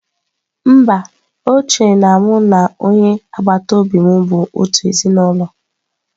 Mba, o chere na mụ na onye agbata obi m bụ otu ezinụlọ.